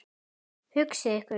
Hugsið ykkur.